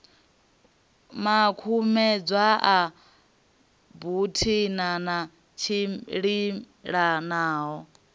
makumedzwa a buthano a tshimbilelanaho